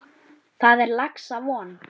Þar er laxa von.